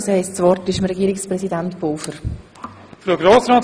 Das Wort hat nun Herr Regierungspräsident Pulver.